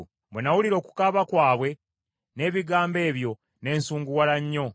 Bwe nawulira okukaaba kwabwe n’ebigambo ebyo ne nsunguwala nnyo.